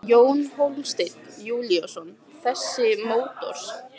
Jón Hólmsteinn Júlíusson: Þessi mótor?